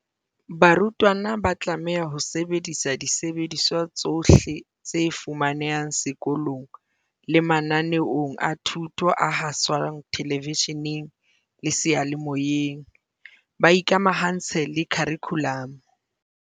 Barutwana ba tlameha ho sebedisa disebediswa tsohle tse fumanehang seko long le mananeong a thuto a haswang thelevishe neng le seyalemoyeng, ba ikamahantse le kharikhu lamo.